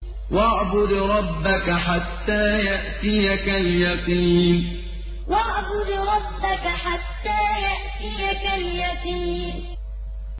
وَاعْبُدْ رَبَّكَ حَتَّىٰ يَأْتِيَكَ الْيَقِينُ وَاعْبُدْ رَبَّكَ حَتَّىٰ يَأْتِيَكَ الْيَقِينُ